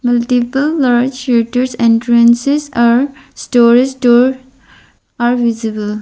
multiple large shutters entrances are storage store are visible.